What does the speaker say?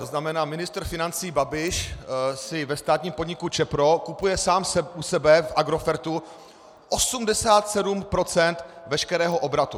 To znamená, ministr financí Babiš si ve státním podniku Čepro kupuje sám u sebe v Agrofertu 87 % veškerého obratu.